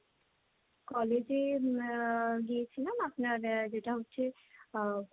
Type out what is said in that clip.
কলেজে আহ গিয়েছিলাম, আপনার যেটা হচ্ছে আহ